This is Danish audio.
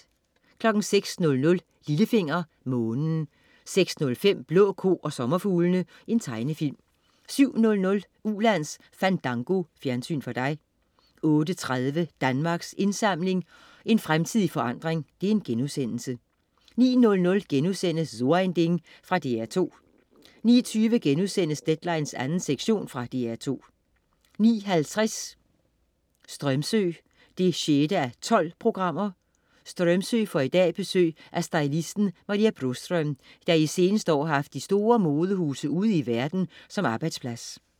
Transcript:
06.00 Lillefinger. Månen 06.05 Blå ko og sommerfuglene. Tegnefilm 07.00 Ulands Fandango. Fjernsyn for dig 08.30 Danmarks Indsamling. En fremtid i forandring* 09.00 So ein Ding.* Fra DR2 09.20 Deadline 2. sektion.* Fra DR2 09.50 Strömsö 6:12. Strömsö får i dag besøg af stylisten Maria Boström, der i de seneste år har haft de store modehuse ude i verden som arbejdsplads